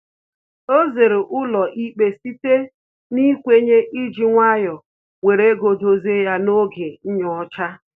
O zere ụlọ ikpe site n'ikwenye iji nwayọ were ego dozie ya n'oge nnyocha